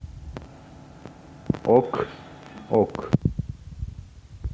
ок ок